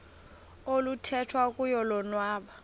oluthethwa kuyo lobonwa